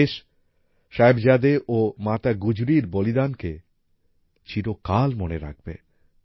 দেশ সাহেবজাদে ও মাতা গুজরির বলিদানকে চিরকাল মনে রাখবে